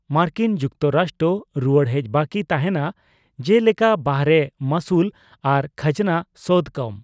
ᱢᱟᱨᱠᱤᱱ ᱡᱩᱠᱛᱚᱨᱟᱥᱴᱨᱚ ᱨᱩᱭᱟᱹᱲ ᱦᱮᱡ ᱵᱟᱠᱤ ᱛᱟᱦᱮᱱᱟ ᱡᱮ ᱞᱮᱠᱟ ᱵᱟᱨᱦᱮ ᱢᱟᱹᱥᱩᱞ ᱟᱨ ᱠᱷᱟᱡᱱᱟ ᱥᱳᱫᱷ ᱠᱟᱢ᱾